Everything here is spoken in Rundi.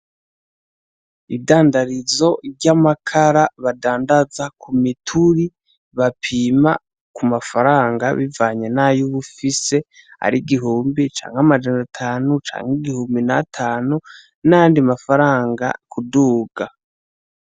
Idandarizo ry'amakara badandaza ku mituri bapima kumafaranga bivanye nayo uba ufise, ari igihumbi canke amajana atanu canke igihumbi n'atanu n'ayandi mafaranga kuduga.